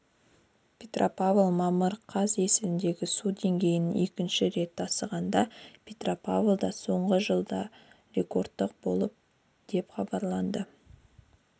петропавл мамыр қаз есілдегі су деңгейі екінші рет тасығанда петропавлда соңғы жылда рекордтық болды деп хабарлады